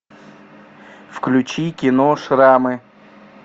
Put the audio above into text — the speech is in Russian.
включи кино шрамы